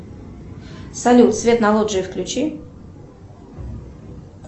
салют свет на лоджии включи